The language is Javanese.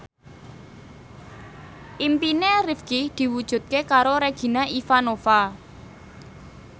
impine Rifqi diwujudke karo Regina Ivanova